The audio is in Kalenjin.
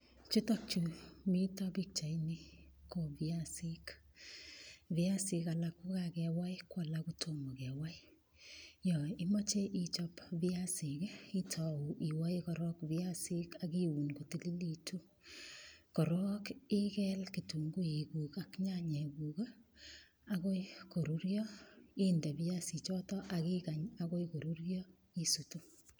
Chutokchu mito pikchaini ko piasik piasik alak kokakewai ko alak kotomo kewai yo imoche ichop piasik itou iwoe korok piasik akiun kotililitu korok ikel kitunguik kuk ak nyanyek kuk akoi korurio inde piasichoto akikany akoi korurio isutu